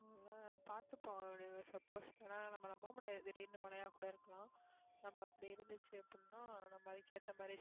உம் பாத்துப்போம் அப்படி suppose ஏன்னா நம்ம நம்ப முடியாது திடீர்ன்னு மழையா கூட இருக்கலாம் நம்ம அப்படி இருந்துச்சு அப்படின்னா நம்ம அதுக்கு ஏத்த மாதிரி